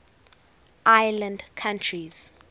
island countries